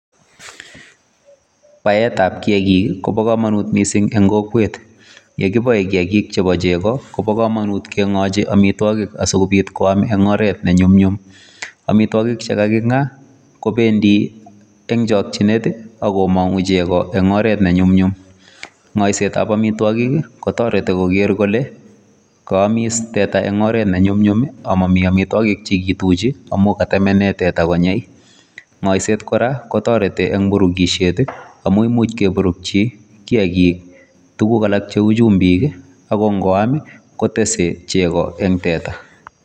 Baetab kiakik ii kobo kamanut mising eng kokwet, ye kiboe kiakik chebo chego ko bo kamanut ke 'ngochi amitwogik asi kobit koam eng oret ne nyumnyum, amitwogik che kaki'nga kobendi eng chokchinet ako mangu chego eng oret nyumnyum, ngoisetab amitwogik ii kotoreti koker kole kaamis teta eng oret ne nyumnyum ii ama mi amitwogik che kituchi amu katemene teta konyei, ngoiset kora kotoreti eng burukisiet ii amu imuch keburukchi kiakik tuguk alak cheu chumbik ii ako ngoam kotese chego eng teta.